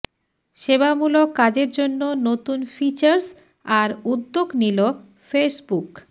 সেবামূলক কাজের জন্য নতুন ফিচার্স আর উদ্যোগ নিল ফেসবুক